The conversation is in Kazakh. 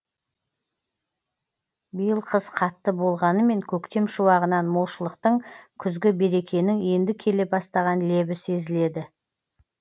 биыл қыс қатты болғанымен көктем шуағынан молшылықтың күзгі берекенің енді келе бастаған лебі сезіледі